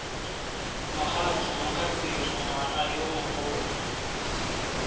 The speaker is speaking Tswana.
mogatse mokapelo ngwana yo mogolo